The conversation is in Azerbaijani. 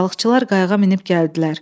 Balıqçılar qayıq minib gəldilər.